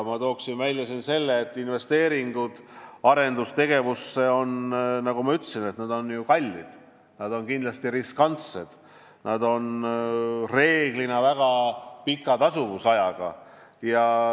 Ma toon välja selle, et investeeringud arendustegevusse, nagu ma ütlesin, on ju kallid, nad on kindlasti riskantsed, nad on üldiselt pika tasuvusajaga.